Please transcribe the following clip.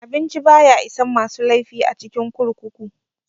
Abinci baya isan masu laifi a cikin kurkuku.